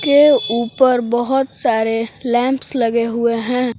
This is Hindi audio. के ऊपर बहुत सारे लैंप्स लगे हुए हैं।